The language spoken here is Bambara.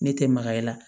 Ne tɛ maga i la